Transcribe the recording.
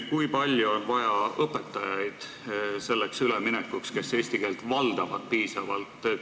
Kui palju on vaja selleks üleminekuks õpetajaid, kes eesti keelt piisavalt valdavad?